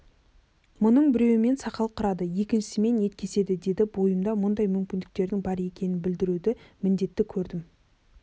мұның біреуімен сақал қырады екіншісімен ет кеседі деді бойымда мұндай мүмкіндіктердің бар екенін білдіруді міндетті көрмедім